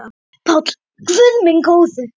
PÁLL: Guð minn góður!